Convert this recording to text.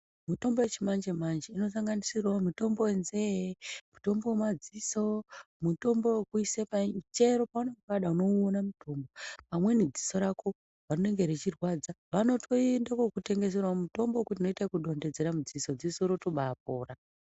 Mitombo yechimanje-manje inosanganisirawo mutombo wenzee, mutombo wemadziso, mutombo wekuise paini, chero paunenge wada unoiona mitombo. Pamweni dziso rako rinenge rechirwadza, vanotoinde kuokutengeserawo mutombo wekuti unodonhedzere mudziso, dziso rotobaapora.